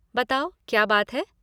बताओ, क्या बात है?